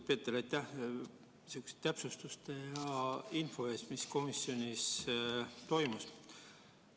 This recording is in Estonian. Kõigepealt, Peeter, aitäh info ja täpsustuste eest selle koha pealt, mis komisjonis toimus!